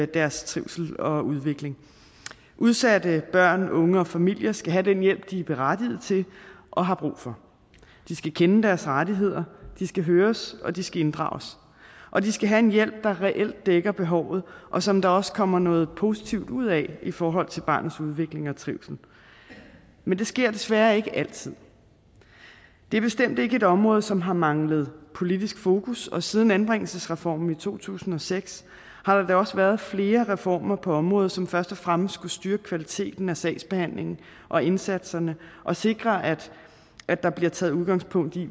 deres trivsel og udvikling udsatte børn og unge og familier skal have den hjælp de er berettiget til og har brug for de skal kende deres rettigheder de skal høres og de skal inddrages og de skal have en hjælp der reelt dækker behovet og som der også kommer noget positivt ud af i forhold til barnets udvikling og trivsel men det sker desværre ikke altid det er bestemt ikke et område som har manglet politisk fokus og siden anbringelsesreformen i to tusind og seks har der da også været flere reformer på området som først og fremmest skulle styrke kvaliteten af sagsbehandlingen og indsatserne og sikre at at der blev taget udgangspunkt i